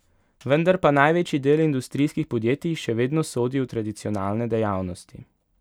Vendar pa največji del industrijskih podjetij še vedno sodi v tradicionalne dejavnosti.